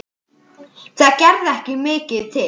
Það gerði ekki mikið til.